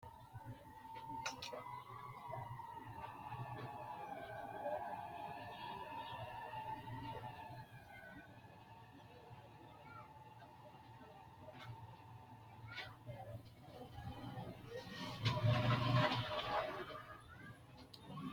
Itophiyu Malaatu Afii Roso Rosiishsha Mite Aleenni uyini’ne xawishshi garinni aante noo xa’muwara gari dawaro doortine Itophiyu Malaatu afiinni dawarre.